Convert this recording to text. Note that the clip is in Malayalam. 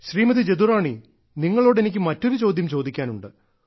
ശ്രീമതി ജദുറാണി നിങ്ങളോട് എനിക്ക് മറ്റൊരു ചോദ്യം ചോദിക്കാനുണ്ട്